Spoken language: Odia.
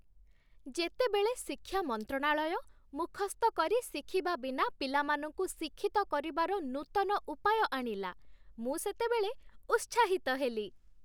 ଯେତେବେଳେ ଶିକ୍ଷା ମନ୍ତ୍ରଣାଳୟ ମୁଖସ୍ଥ କରି ଶିଖିବା ବିନା ପିଲାମାନଙ୍କୁ ଶିକ୍ଷିତ କରିବାର ନୂତନ ଉପାୟ ଆଣିଲା, ମୁଁ ସେତେବେଳେ ଉତ୍ସାହିତ ହେଲି।